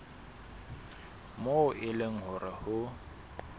moo e leng hore ho